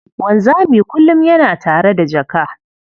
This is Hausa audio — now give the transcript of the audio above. Wanzami kullum yana tare da jaka.